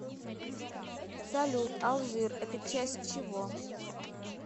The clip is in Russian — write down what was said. салют алжир это часть чего